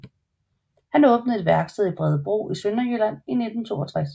Han åbnede et værksted i Bredebro i Sønderjylland i 1962